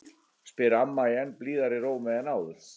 spyr amma í enn blíðari rómi en áður.